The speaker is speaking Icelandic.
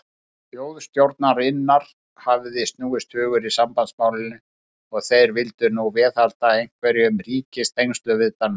Þjóðstjórnarinnar hefði snúist hugur í sambandsmálinu, og þeir vildu nú viðhalda einhverjum ríkistengslum við Danmörku.